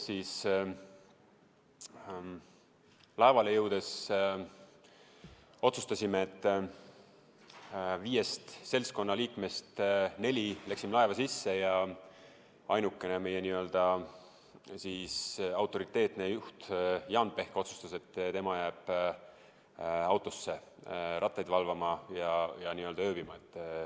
Laevale jõudes otsustasime, et viiest seltskonna liikmest neli lähevad laeva sisse ja meie n-ö autoriteetne juht Jaan Pehk otsustas, et tema jääb autosse rattaid valvama ja ööbima.